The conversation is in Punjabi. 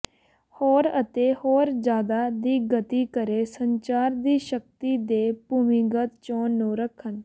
ਹੋਰ ਅਤੇ ਹੋਰ ਜਿਆਦਾ ਦੀ ਗਤੀ ਕਰੇ ਸੰਚਾਰ ਦੀ ਸ਼ਕਤੀ ਦੇ ਭੂਮੀਗਤ ਚੋਣ ਨੂੰ ਰੱਖਣ